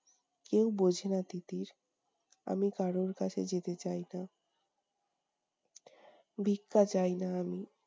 কেউ বোঝেনা তিতির। আমি কারোর কাছে যেতে চাই না। ভিক্ষা চাইনা আমি।